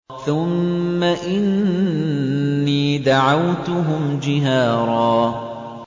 ثُمَّ إِنِّي دَعَوْتُهُمْ جِهَارًا